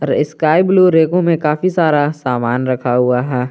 Sky blue रैकों में काफी सारा सामान रखा हुआ है।